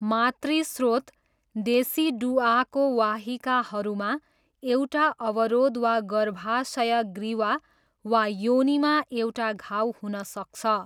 मातृ स्रोत डेसिडुआको वाहिकाहरूमा एउटा अवरोध वा गर्भाशय ग्रीवा वा योनिमा एउटा घाउ हुन सक्छ।